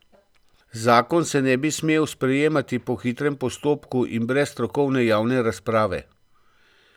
Zakon se ne bi smel sprejemati po hitrem postopku in brez strokovne javne razprave.